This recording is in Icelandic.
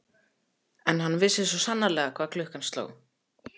En hann vissi svo sannarlega hvað klukkan sló.